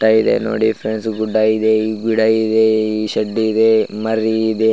Dairy ನೋಡಿ friends ಗುಡ್ಡ ಇದೆ ಗಿಡ ಇದೆ ಶೆಡ್ ಇದೆ ಮರಿ ಇದೆ .